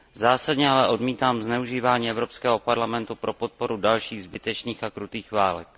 Zásadně ale odmítám zneužívání Evropského parlamentu pro podporu dalších zbytečných a krutých válek.